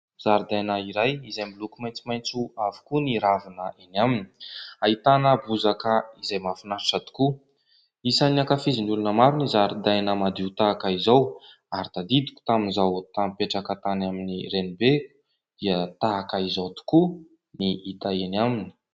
Zaridaina iray izay miloko maitsomaitso avokoa ny ravia eny aminy. Ahitana bozaka izay mahafinaritra tokoa. Isan'ny ankafizin'ny olona maro ny zaridaina madio tahaka izao ary tadidiko tamin'izaho nipetraka tany amin'ny renibeko dia tahaka izao tokoa no hita eny aminy.